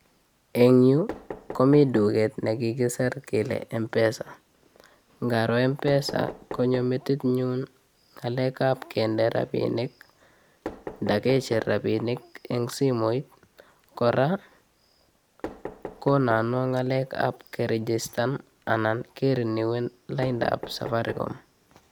En yu komi duket nekikisir kele Mpesa ngaro Mpesa konyo metinyun ng'alekab kendee rapisinik ala kicher rapinik en simoit kora ng'alekab kerejester anan kerenuen laidab safaricom.